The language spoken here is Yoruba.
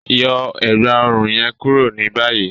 Yọ ẹ̀gbá-ọ̀run yẹn kúrò ni bàyìí!